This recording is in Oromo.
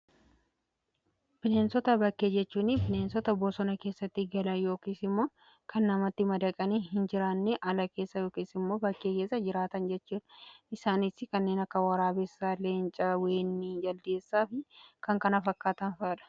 Bineensota bakkee jechuun bineensota bosona keessatti gala yookiis immoo kan namatti madaqanii hin jiraannee. Ala keessa yookiis immoo bakkee keessa jiraatan jechuudha. Isaaniis kanneen akka waraabessaa , leencaa, weenii, jaldeessaa fi kan kana fakkaatan fa'adha.